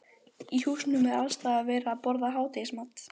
Í húsunum er alls staðar verið að borða hádegismat.